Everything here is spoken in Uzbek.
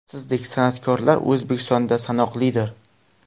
Sizdek san’atkorlar O‘zbekistonda sanoqlidir.